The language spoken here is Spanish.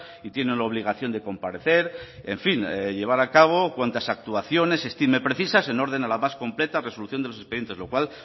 y tienen la obligación de comparecer en fin llevar a cabo cuantas actuaciones estime precisas en orden a la más completa resolución de los expedientes lo cual